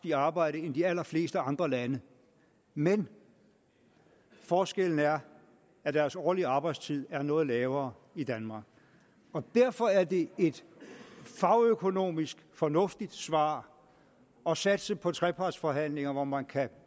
i arbejde end i de allerfleste andre lande men forskellen er at deres årlige arbejdstid er noget lavere i danmark derfor er det et fagøkonomisk fornuftigt svar at satse på trepartsforhandlinger hvor man kan